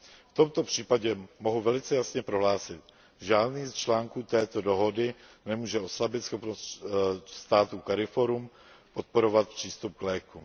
V tomto případě mohu velice jasně prohlásit, že žádný z článků této dohody nemůže oslabit schopnost států CARIFORUM podporovat přístup k lékům.